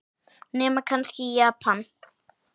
Nema kannski í Japan.